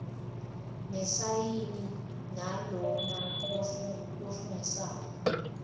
nesayini yalona lofungisako